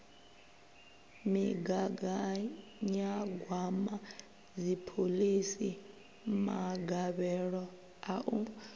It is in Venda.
migaganyagwama dziphoḽisi magavhelo a u